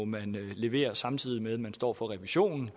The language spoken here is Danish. levere samtidig med at man står for revisionen